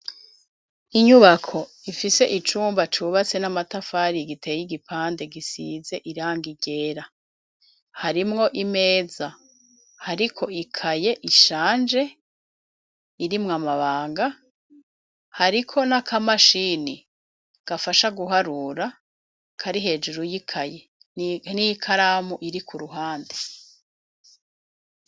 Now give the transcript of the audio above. Inyubako ifise icumba cubatse n'amatafari giteye igipande gisize iranga ryera. Harimwo imeza hariko ikaye ishanje irimwo amabanga hariko n'akamashini gafasha guharura kari hejuru y'ikaye n'ikaramu iri ku ruhande.